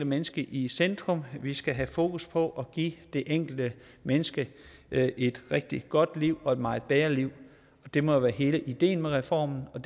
menneske i centrum vi skal have fokus på at give det enkelte menneske et rigtig godt liv og et meget bedre liv det må jo være hele ideen med reformen og